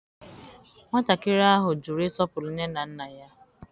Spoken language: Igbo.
Nwatakịrị ahụ jụrụ ịsọpụrụ nne na nna ya.